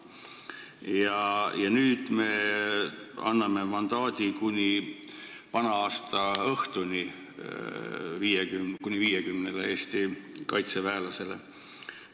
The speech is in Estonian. Ja nüüd me anname mandaadi kuni vana-aastaõhtuni kuni 50 Eesti tegevväelasele.